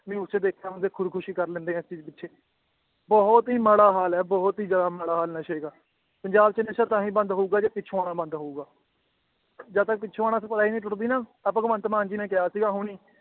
News ਚ ਦੇਖਿਆ ਬੰਦੇ ਖ਼ੁਦਕੁਸ਼ੀ ਕਰ ਲੈਂਦੇ ਹੈ ਇਸ ਚੀਜ਼ ਪਿੱਛੇ, ਬਹੁਤ ਹੀ ਮਾੜਾ ਹਾਲ ਹੈ ਬਹੁਤ ਹੀ ਜ਼ਿਆਦਾ ਮਾੜਾ ਹਾਲ ਨਸ਼ੇ ਦਾ ਪੰਜਾਬ ਚ ਨਸ਼ਾ ਤਾਂ ਹੀ ਬੰਦ ਹੋਊਗਾ, ਜੇ ਪਿੱਛੋਂ ਆਉਣਾ ਬੰਦ ਹੋਊਗਾ ਜਦ ਤੱਕ ਪਿੱਛੋਂ ਆਉਣਾ supply ਨੀ ਟੁੱਟਦੀ ਨਾ, ਆਹ ਭਗਵੰਤ ਮਾਨ ਜੀ ਨੇ ਕਿਹਾ ਸੀਗਾ ਹੁਣੇ ਹੀ